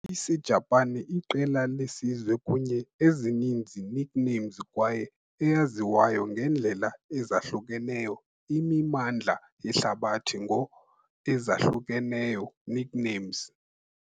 I-Isijapani iqela lesizwe kunye ezininzi nicknames kwaye eyaziwayo ngendlela ezahlukeneyo imimandla yehlabathi ngo ezahlukeneyo nicknames.